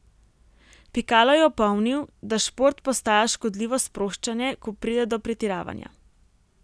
Pikalo je opomnil, da šport postaja škodljivo sproščanje, ko pride do pretiravanja.